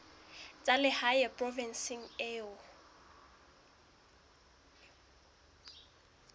tsa lehae provinseng eo o